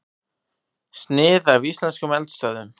Snið af íslenskum eldstöðvum.